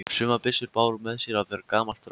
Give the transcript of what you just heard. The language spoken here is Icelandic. Sumar byssurnar báru með sér að vera gamalt drasl.